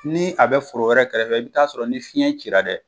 Ni a bɛ foro wɛrɛ kɛrɛfɛ i be t'a sɔrɔ ni fiɲɛ ci dɛ